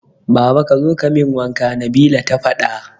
Baba kazo kamin wanka Nabila ta fada